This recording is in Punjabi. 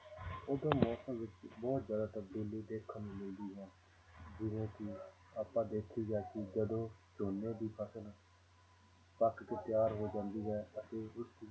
ਉਦੋਂ ਮੌਸਮ ਵਿੱਚ ਬਹੁਤ ਜ਼ਿਆਦਾ ਤਬਦੀਲੀ ਦੇਖਣ ਨੂੰ ਮਿਲਦੀ ਹੈ ਜਿਵੇਂ ਕਿ ਆਪਾਂ ਦੇਖੀਦਾ ਕਿ ਜਦੋਂ ਝੋਨੇ ਦੀ ਫ਼ਸਲ ਪੱਕ ਕੇ ਤਿਆਰ ਹੋ ਜਾਂਦੀ ਹੈ ਅਤੇ ਉਸਦੀ